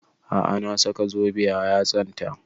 A'a na saka zobe a yatsan ta